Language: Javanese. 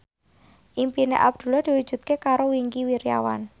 impine Abdullah diwujudke karo Wingky Wiryawan